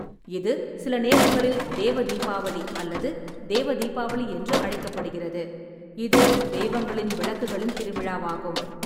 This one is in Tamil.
இது சில நேரங்களில் தேவதீபாவளி அல்லது தேவதீபாவளி என்று அழைக்கப்படுகிறது, இது தெய்வங்களின் விளக்குகளின் திருவிழாவாகும்.